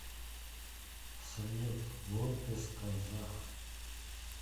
салют выписка за